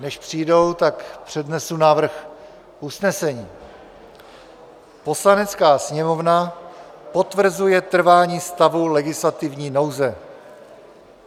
Než přijdou, tak přednesu návrh usnesení: "Poslanecká sněmovna potvrzuje trvání stavu legislativní nouze."